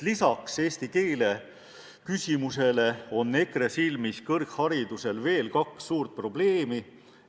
Lisaks eesti keele küsimusele on EKRE silmis kõrgharidusel veel kaks suurt probleemi.